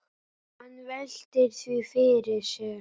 Hann veltir því fyrir sér.